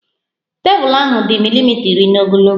Tebụl ahụ dị milimita iri n'ogologo